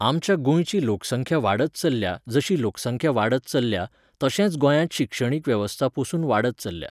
आमच्या गोंयची लोकसंख्या वाडत चल्ल्या जशी लोकसंख्या वाडत चल्ल्या, तशेंच गोंयांत शिक्षणीक वेवस्था पसून वाडत चल्ल्या.